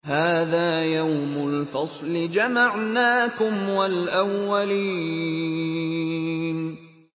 هَٰذَا يَوْمُ الْفَصْلِ ۖ جَمَعْنَاكُمْ وَالْأَوَّلِينَ